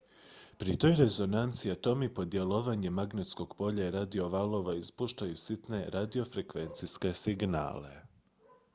pri toj rezonanciji atomi pod djelovanjem magnetskog polja i radiovalova ispuštaju sitne radiofrekvencijske signale